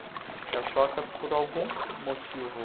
Que a choca, por algum motivo...